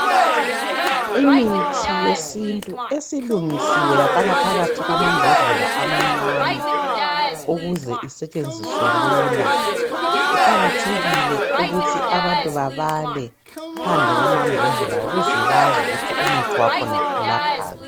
Imithi yesintu esilungisiwe yafakwa phakathi kwembodlela amancane ukuze isetshenziswe lula. Kuqakathekile ukuthi abantu babale phandle kwamambhodlela ukuze bazi ukuthi umuthi wakhona ulaphani.